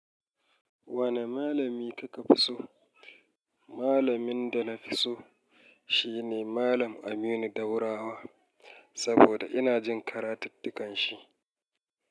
Wane malami kake fi so? Malamin da na fi so shi ne Malam Aminu Daurawa saboda ina jin karatuttukan shi.